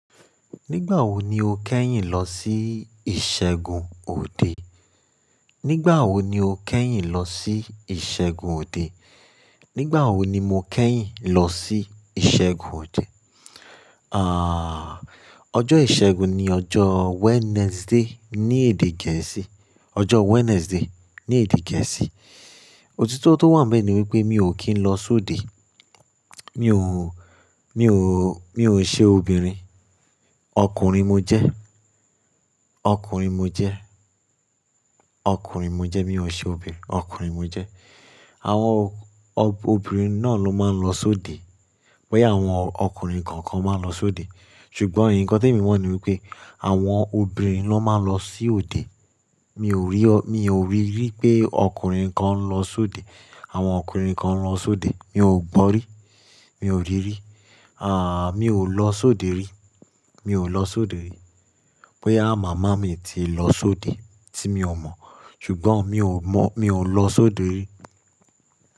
Nígbà wo ni o kẹ́yìn lọ sí ìṣẹ́gun òde? Nígbà wo ni o kẹ́yìn lọ sí ìṣẹ́gun òde? Nígbà wo ni mo kẹ́yìn lọ sí ìṣẹ́gun òde? Ọjọ́ ìṣẹ́gun ni ọjọ́ Wednesday ní èdè gẹ̀ẹ́sì. Ọjọ́ Wednesday ní èdè gẹ̀ẹ́sì. Òtítọ́ tó wà níbẹ̀ ni wípé mi ò kí ń lọ sóde. Mi ò, mi ò, mi ò n ṣe obìnrin. Ọkùnrin mo jẹ́. Ọkùnrin mo jẹ́. Ọkùnrin mo jẹ́. Mi ò ṣe obìnrin, ọkùnrin mo jẹ́. Àwọn o-o-obìnrin náà ló máa ń lọ sóde. Bóyá àwọn ọkùnrin kankan máa ń lọ sóde. Ṣùgbọ́n ǹkan tí mo mọ̀ ni wípé àwọn obìnrin ló máa ń lọ sí òde. Mi ò rí ọ-- mi ò ríri pé ọkùnrin kan ń lọ sóde. Àwọn ọkùnrin kan ń lọ sóde. Mi ò gbọ́ rí. Mi ò rí rí. Àh, mi ò lọ sóde rí. Mi ò lọ sóde rí. Bóyá màmá mi ti lọ sóde tí mi ò mọ̀. Ṣùgbọ́n mi ò mọ̀-- mi ò lọ sóde rí.